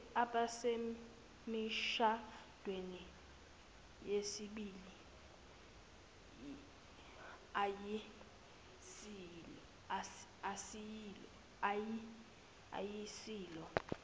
abasemishadweni yesibili ayisilo